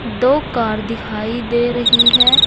दो कार दिखाई दे रही है।